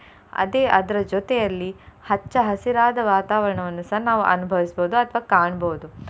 ಅದೇ ಅದ್ರ ಜೊತೆಯಲ್ಲಿ ಹಚ್ಚ ಹಸಿರಾದ ವಾತಾವರಣವನ್ನುಸ ನಾವು ಅನುಭವಿಸ್ಬೋದು ಅಥವಾ ಕಾಣ್ಬೋದು.